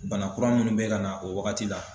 Bana kura munnu bɛ ka na o wagati la